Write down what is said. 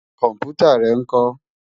Kòmpútá rè nkò?